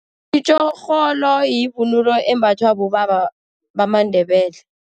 Itjorholo yivunulo embathwa bobaba bamaNdebele.